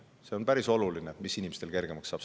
See on päris oluline, mis inimestel kergemaks läheb.